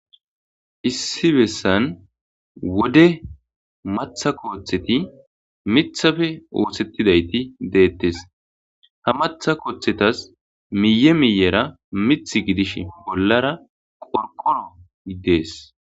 issi bessan wode matha kooththeti mithafe oosettidayti deettes ha matha kooththetas miye miyera mith gidish bollara qorqoro dees